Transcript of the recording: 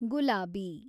ಗುಲಾಬಿ